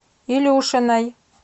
илюшиной